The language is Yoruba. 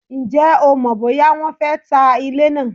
Ǹjẹ́ o mọ̀ bóyá wọ́n fé ta ilé naa?